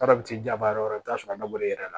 jaba yɔrɔ wɛrɛ i bɛ taa sɔrɔ a dabɔra e yɛrɛ la